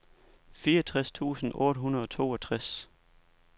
fireogtres tusind otte hundrede og toogtres